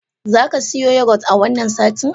Za ka siyo yogurt a wannan satin?